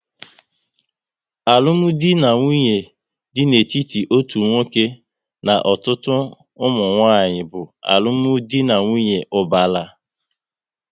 Alụmdi na nwunye dị n'etiti otu nwoke na ọtụtụ ụmụnwanyị bụ alụmdi na nwunye ubara